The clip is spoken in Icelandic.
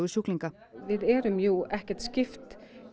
sjúklinga við erum jú ekki skipt